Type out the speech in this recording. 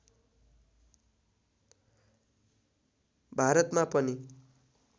भारतमा पनि